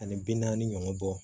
Ani bi naani ɲɔgɔn bɔ